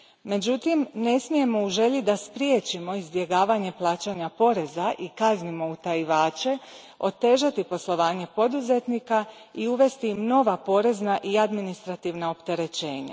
Međutim, ne smijemo u želji da spriječimo izbjegavanje plaćanja poreza i da kaznimo utajivače otežati poslovanje poduzetnika i uvesti im nova porezna i administrativna opterećenja.